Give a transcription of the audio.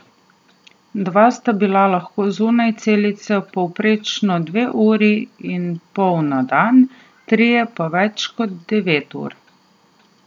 Dva sta bila lahko zunaj celice povprečno dve uri in pol na dan, trije pa več kot devet ur.